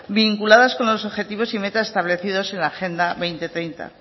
vinculadas con los objetivos y metas establecidos en la agenda dos mil treinta